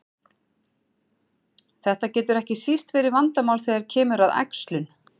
Þetta getur ekki síst verið vandamál þegar kemur að æxlun.